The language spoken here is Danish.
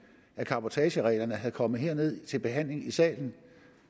af cabotagereglerne var kommet til behandling hernede i salen